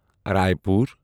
Raipur